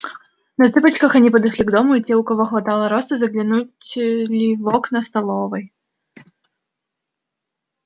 на цыпочках они подошли к дому и те у кого хватало роста заглянули в окна столовой